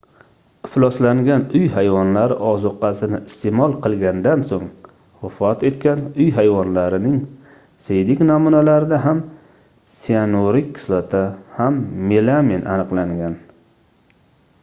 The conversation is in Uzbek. ifloslangan uy hayvonlari ozuqasini isteʼmol qilgandan soʻng vafot etgan uy hayvonlarining siydik namunalarida ham siyanurik kislota ham melamin aniqlangan